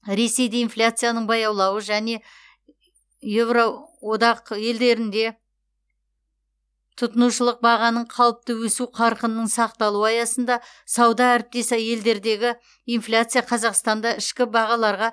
ресейде инфляцияның баяулауы және евроодақ елдерінде тұтынушылық бағаның қалыпты өсу қарқынының сақталуы аясында сауда әріптес елдердегі инфляция қазақстанда ішкі бағаларға